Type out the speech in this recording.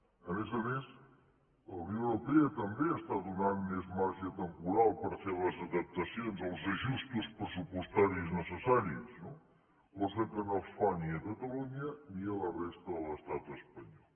a més a més la unió europea també dóna més marge temporal per fer les adaptacions els ajustos pressupostaris necessaris no cosa que no es fa ni a catalunya ni a la resta de l’estat espanyol